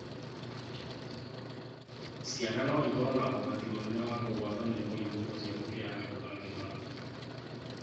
Ciana no ikorũo na ũgwati mũnene wa kũgwatwo nĩ mũrimũ ũcio gũkĩra andũ agima.